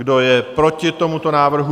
Kdo je proti tomuto návrhu?